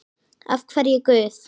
Af hverju Guð?